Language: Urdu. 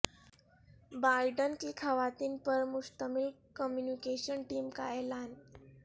بائیڈن کی خواتین پر مشتمل کمیونی کیشن ٹیم کا اعلان